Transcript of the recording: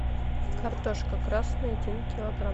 картошка красная один килограмм